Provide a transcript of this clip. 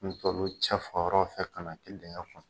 N cɛfa yɔrɔw fɛ ka na kɛ dengɛ kɔnɔ.